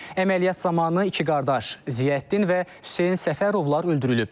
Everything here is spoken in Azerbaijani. Əməliyyat zamanı iki qardaş Ziyəddin və Hüseyn Səfərovlar öldürülüb.